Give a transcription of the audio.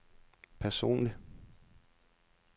personligt